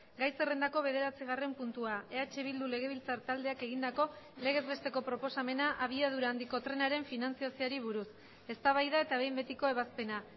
gai zerrendako bederatzigarren puntua eh bildu legebiltzar taldeak egindako legez besteko proposamena abiadura handiko trenaren finantzazioari buruz eztabaida eta behin betiko ebazpena